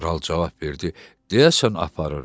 Kral cavab verdi: Deyəsən aparıram.